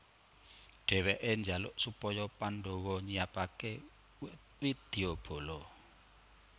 Dheweke njaluk supaya Pandhawa nyiapake widyabala